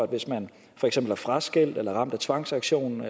hvis man for eksempel er fraskilt er ramt af tvangsauktion